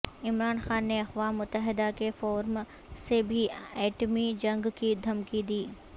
عمران خان نے اقوام متحدہ کے فورم سے بھی ایٹمی جنگ کی دھمکی دی